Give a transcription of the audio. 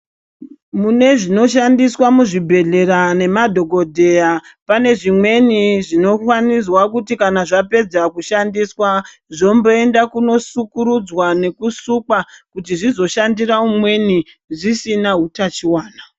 Mune zvinoshandiswa muzvibhedhlera nemadhokodheya pane zvimweni zvinofanirwa kuti kana zvapedza kushandiswa zvomboendwa kundosukurudzwa nekusukwa kuti zvizoshandira mumweni zvisina utachiona.